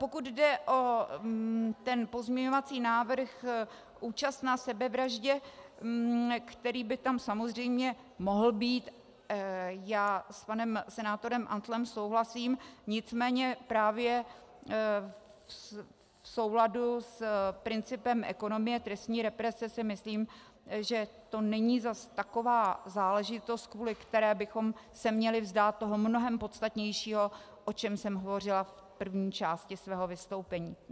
Pokud jde o ten pozměňovací návrh účast na sebevraždě, který by tam samozřejmě mohl být, já s panem senátorem Antlem souhlasím, nicméně právě v souladu s principem ekonomie trestní represe si myslím, že to není zas taková záležitost, kvůli které bychom se měli vzdát toho mnohem podstatnějšího, o čem jsem hovořila v první části svého vystoupení.